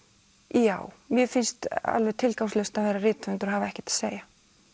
já mér finnst alveg tilgangslaust að vera rithöfundur og hafa ekkert að segja